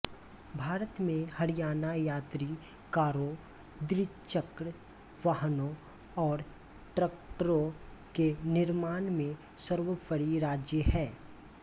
भारत में हरियाणा यात्रि कारों द्विचक्र वाहनों और ट्रैक्टरों के निर्माण में सर्वोपरी राज्य है